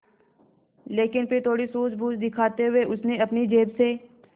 लेकिन फिर थोड़ी सूझबूझ दिखाते हुए उसने अपनी जेब से